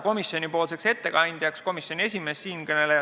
Komisjoni ettekandjaks määrati komisjoni esimees Tõnis Mölder.